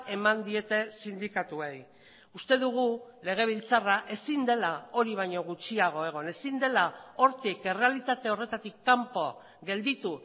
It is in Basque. eman diete sindikatuei uste dugu legebiltzarra ezin dela hori baino gutxiago egon ezin dela hortik errealitate horretatik kanpo gelditu